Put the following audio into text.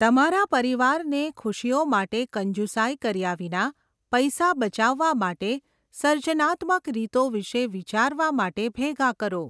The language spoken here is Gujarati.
તમારા પરિવારને ખુશીઓ માટે કંજુસાઈ કર્યા વિના પૈસા બચાવવા માટે સર્જનાત્મક રીતો વિશે વિચારવા માટે ભેગા કરો.